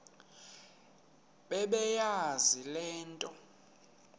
bebeyazi le nto